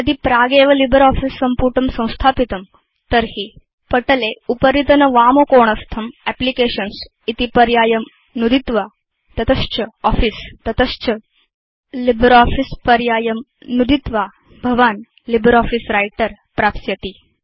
यदि प्रागेव लिब्रियोफिस सम्पुटं संस्थापितं तर्हि पटले उपरितनवामकोणस्थं एप्लिकेशन्स् इति पर्यायं नुदित्वा तत च आफिस तत च लिब्रियोफिस पर्यायं नुदित्वा भवान् लिब्रियोफिस व्रिटर प्राप्स्यति